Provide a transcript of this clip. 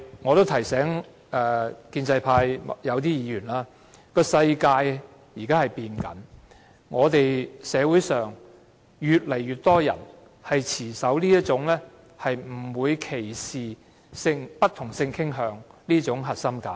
我亦想提醒建制派某些議員，世界正在改變，社會上越來越多人持守"不歧視不同性傾向人士"的核心價值。